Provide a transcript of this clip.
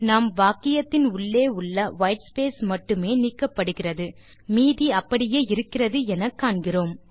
நாம் வாக்கியத்தின் உள்ளே உள்ள வைட் ஸ்பேஸ் மட்டுமே நீக்கப்படுகிறது மீதி அப்படியே இருக்கிறது எனக் காண்கிறோம்